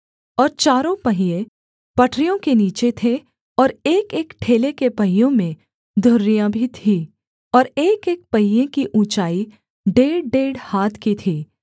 और चारों पहिये पटरियों के नीचे थे और एकएक ठेले के पहियों में धुरियाँ भी थीं और एकएक पहिये की ऊँचाई डेढ़डेढ़ हाथ की थी